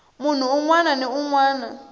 munhu un wana ni un